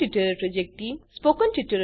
spoken tutorial project team